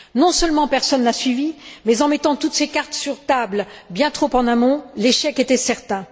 Non seulement personne n'a suivi, mais en mettant toutes ses cartes sur la table bien trop en amont, l'échec était certain.